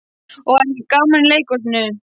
Og var ekki gaman í leikhúsinu?